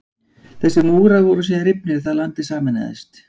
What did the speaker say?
Þessir múrar voru síðan rifnir þegar landið sameinaðist.